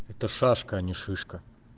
это шашка не шишка